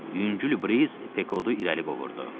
Yüngül briz Pekodu irəli qovurdu.